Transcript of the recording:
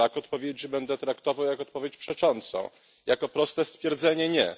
Brak odpowiedzi będę traktował jak odpowiedź przeczącą, jako proste stwierdzenie nie.